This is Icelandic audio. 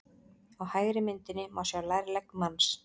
Á hægri myndinni má sjá lærlegg manns.